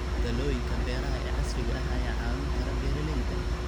Talooyinka beeraha ee casriga ah ayaa caawin kara beeralayda.